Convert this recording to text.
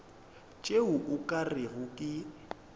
tšeo o ka rego ke